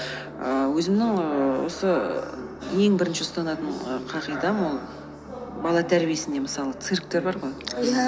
ііі өзімнің ііі осы ең бірінші ұстанатын і қағидам ол бала тәрбиесіне мысалы цирктер бар ғой иә